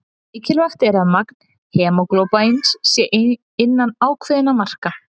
Mikilvægt er að magn hemóglóbíns sé innan ákveðinna marka.